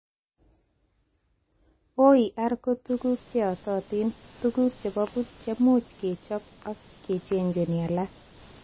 OER ko tuguk cheyototin, tuguk chebo boch chemuch kechob ak kejechin alak